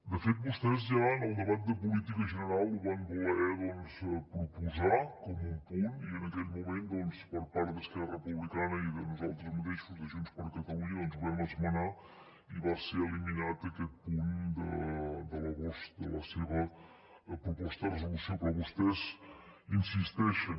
de fet vostès ja en el debat de política general ho van voler doncs proposar com un punt i en aquell moment per part d’esquerra republicana i de nosaltres mateixos de junts per catalunya ho vam esmenar i va ser eliminat aquest punt de la seva proposta de resolució però vostès hi insisteixen